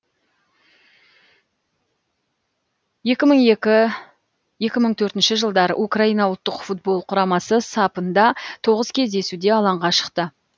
екі мың екі екі мың төртінші жылдары украина ұлттық футбол құрамасы сапында тоғыз кездесуде алаңға шықты